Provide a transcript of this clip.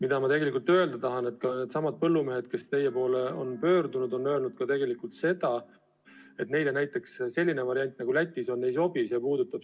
Aga ma märgin, et needsamad põllumehed, kes teie poole on pöördunud, on öelnud tegelikult ka seda, et neile näiteks selline variant, nagu Lätis on, ei sobi.